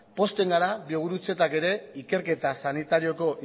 pozten gara biogurutzetak ere ikerketa sanitarioko